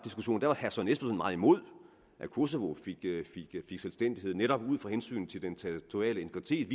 imod at kosovo fik selvstændighed netop ud fra hensynet til den territoriale integritet